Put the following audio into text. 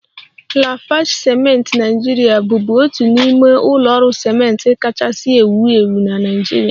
Lafarge ciment Naijiria bụbu otu n'ime ụlọ ọrụ ciment kachasị ewu ewu na Naịjirịa